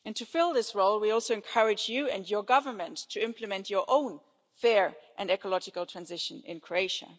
To fill this role, we also encourage you and your government to implement your own fair and ecological transition in Croatia.